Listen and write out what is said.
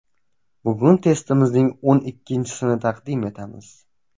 Bugun testimizning o‘n ikkinchisini taqdim etamiz.